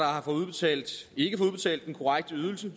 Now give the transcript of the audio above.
har fået udbetalt den korrekte ydelse